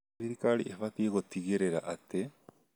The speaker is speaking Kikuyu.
Thirikari ĩbatie gũtigĩrĩra atĩ